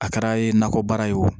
A kɛra nakɔbaara ye o